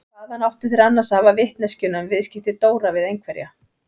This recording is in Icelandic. Hvaðan áttu þeir annars að hafa vitneskjuna um viðskipti Dóra við einhverja?